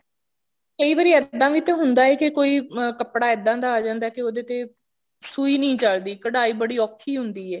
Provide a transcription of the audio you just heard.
ਕਈ ਵਾਰੀ ਇੱਦਾਂ ਵੀ ਤਾਂ ਹੁੰਦਾ ਹੈ ਕਿ ਕੋਈ ਕੱਪੜਾ ਇੱਦਾਂ ਦਾ ਜਾਂਦਾ ਤੇ ਉਹਦੇ ਤੇ ਸੂਈ ਨਹੀਂ ਚਲਦੀ ਕਢਾਈ ਅਹੂਤ ਔਖੀ ਹੁੰਦੀ ਹੈ